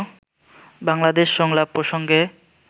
বাংলাদেশ সংলাপ প্রসঙ্গে